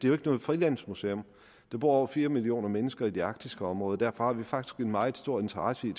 er noget frilandsmuseum der bor over fire millioner mennesker i det arktiske område og derfor har vi faktisk en meget stor interesse i